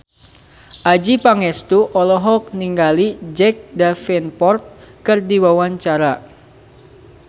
Adjie Pangestu olohok ningali Jack Davenport keur diwawancara